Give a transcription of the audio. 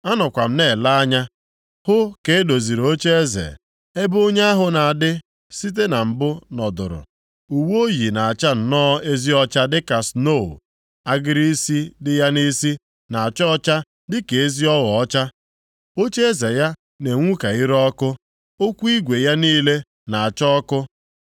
“Anọkwa m na-ele anya “hụ ka e doziri ocheeze, ebe Onye ahụ na-adị site na mbụ nọdụrụ. Uwe o yi na-acha nnọọ ezi ọcha dịka snoo, agịrị isi dị ya nʼisi na-acha ọcha dị ka ezi ogho ọcha. Ocheeze ya na-enwu ka ire ọkụ, ụkwụ igwe ya niile na-acha ọkụ.